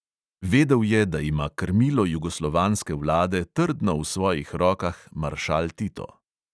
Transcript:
Vedel je, da ima krmilo jugoslovanske vlade trdno v svojih rokah maršal tito.